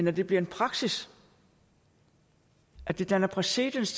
at det bliver en praksis at det danner præcedens